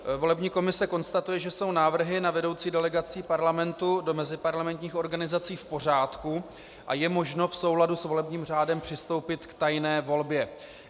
Volební komise konstatuje, že jsou návrhy na vedoucí delegací Parlamentu do meziparlamentních organizací v pořádku a je možno v souladu s volebním řádem přistoupit k tajné volbě.